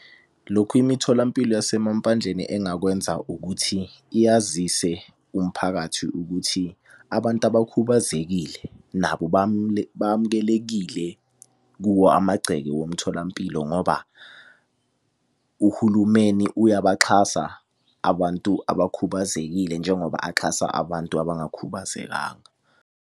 Lokhu imitholampilo yasemampandleni engakwenza ukuthi, iyazise umphakathi ukuthi abantu abakhubazekile nabo bamukelekile kuwo amagceke womtholampilo ngoba, uhulumeni uyabaxhasa abantu abakhubazekile njengoba axhasa abantu abangakhubazekanga.